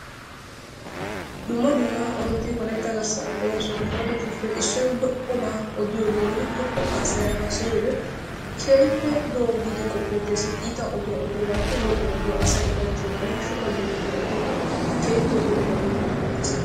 Dumma dumma odoti wolaytta garssan de'oosona. He odotuppe issoy lo"obaa odiyogeenne lo"o haasaya haasayiyogee keehippe lo''o giidi qofeettees, iita oduwa odiyogappe lo"o oduwa asay ufayttiyoganne hashukka giyo oduwa odiyogee keehippe lo"obaa giidi qoppettees.